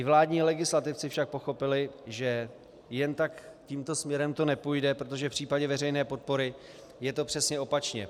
I vládní legislativci však pochopili, že jen tak tímto směrem to nepůjde, protože v případě veřejné podpory je to přesně opačně.